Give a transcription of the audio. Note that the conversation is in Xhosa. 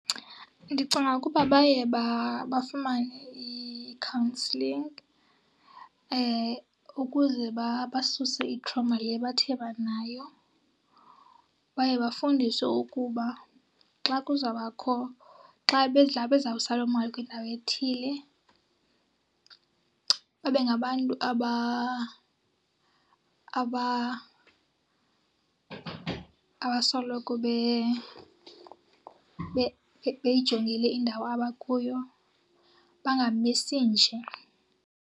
Ndicinga ukuba baye bafumane i-counselling ukuze basuse i-trauma le bathe banayo. Baye bafundiswe ukuba xa kuzawubakho, xa bezawusa loo mali kwindawo ethile babe ngabantu abasoloko beyijongile indawo abakuyo, bangamisi nje.